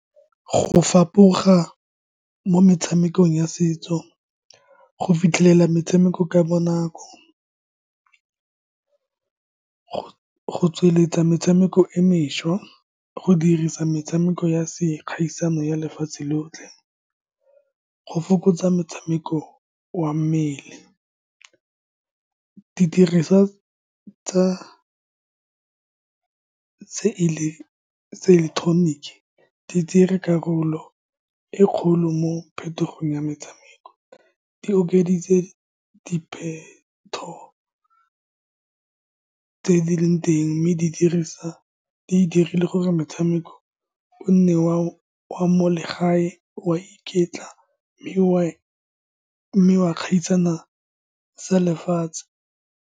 Go fapoga mo metshamekong ya setso, go fitlhelela metshameko ka bonako , go tsweletsa metshameko e mešwa, go dirisa metshameko ya se kgaisano ya lefatshe lotlhe, go fokotsa motshameko wa mmele. Didiriswa tsa ileketeroniki di dire karolo e kgolo mo phetogong ya metshameko. Di okeditse dipheto tse di leng teng, mme di dirisa, di dirile gore metshameko o nne wa mo legae, wa iketla , mme wa gaisana tsa lefatshe.